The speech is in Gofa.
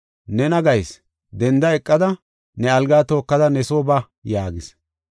“Nena gayis, denda eqada ne algaa tookada ne soo ba” yaagis.